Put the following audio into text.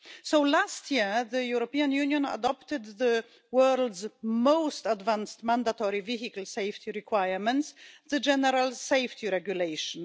So last year the European Union adopted the world's most advanced mandatory vehicle safety requirements, the General Safety Regulation.